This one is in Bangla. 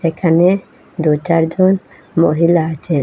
এখানে দু চার জন মহিলা আছেন।